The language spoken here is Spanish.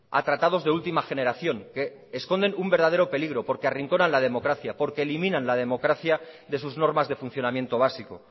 a tratados de última generación que esconcen un verdadero peligro porque arrinconan la democracia porque eliminan la democracia de sus normas de funcionamiento básico